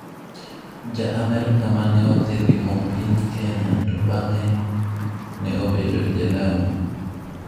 Ja Amerka ma ne odhi limo piny Kenya to bang'e ne obedo ja Lamu